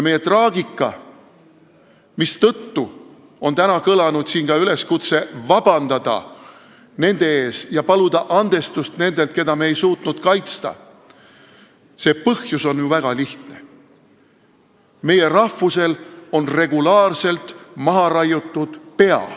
Meie traagika, mistõttu täna on kõlanud siin ka üleskutse paluda vabandust ja andestust nendelt, keda me ei suutnud kaitsta, põhjus on ju väga lihtne: meie rahvusel on regulaarselt maha raiutud pea.